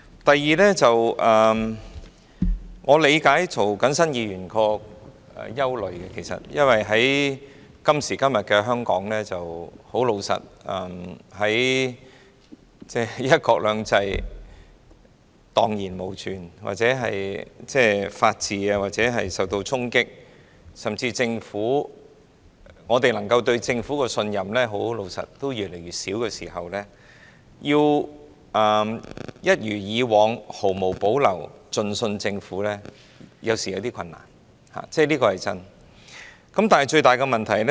第二，我理解涂謹申議員的憂慮，因為今時今日，老實說，"一國兩制"已蕩然無存，法治也受到衝擊，我們對政府的信任水平也越來越低，要像以往一樣毫無保留地信任政府，實在頗為困難，這是事實。